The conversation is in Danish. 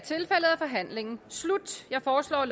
forhandlingen sluttet jeg foreslår at